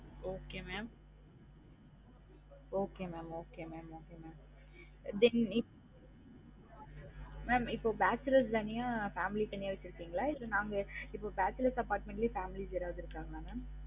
Okay mam okay mam okay mam okay mambeginning mam இப்ப bachelors தனியா family தனியா வச்சிருகிங்களா இல்ல நாங்க இப்ப bachelors apartment லயே families யாராவது இருக்காங்களா mam